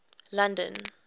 london